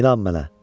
İnan mənə.